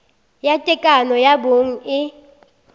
ya tekano ya bong e